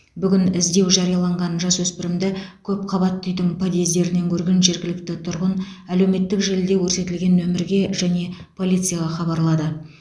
бүгін іздеу жарияланған жасөспірімді көпқабатты үйдің подъездерінен көрген жергілікті тұрғын әлеуметтік желіде көрсетілген нөмірге және полицияға хабарлады